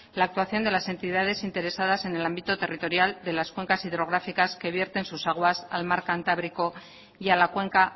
la actuación de las entidades interesadas en el ámbito territorial de las cuencas hidrográficas que vierten sus aguas al mar cantábrico y a la cuenca